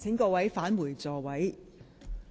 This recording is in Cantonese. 請議員返回座位。